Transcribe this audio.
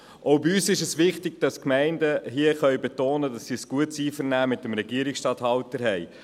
Auch bei uns ist es wichtig, dass die Gemeinden betonen können, dass sie ein gutes Einvernehmen mit dem Regierungsstatthalter haben.